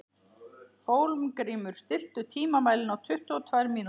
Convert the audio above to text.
Hólmgrímur, stilltu tímamælinn á tuttugu og tvær mínútur.